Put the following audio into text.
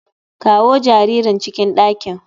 Kawo jaririn cikin dakin.